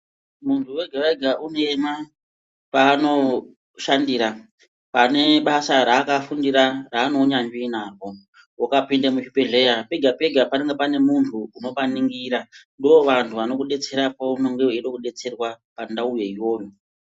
Muntu wega wega une paanoshandira pane basa raakafundira raane unyanzvi napo. Ukapinda muzvibhehleya pega pega panenge pane muntu unopaningira ndovanhu vanokudetsera paunonge weide kudetserwa pandauyo iyoyo.